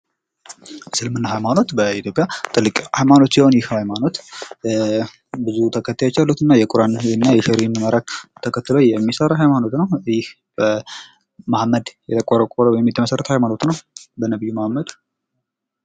እስልምና ሃይማኖት በኢትዮጵያ ትልቅ ሃይማኖት ሲሆን ይህ ሃይማኖት ብዙ ተከታዮች ያሉትና የቁራንና ተከትሎ የሚሰራ ሃይማኖት ነው ይህ መሀመድ የቆረቆረው ወይም የመሠረተው ሃይማኖት ነው። በነብዩ መሀመድ